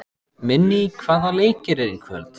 Minný, hvaða leikir eru í kvöld?